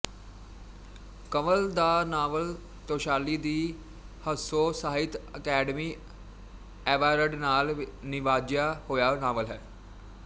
ਕੰਵਲ ਦਾ novel Taushali di Hanso Sahitya Akademi award ਨਾਲ ਨਿਵਾਜਿਆ ਹੋਇਆ ਨਾਵਲ ਹੈ